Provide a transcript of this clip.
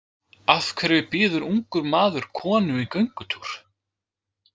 Af hverju býður ungur maður konu í göngutúr?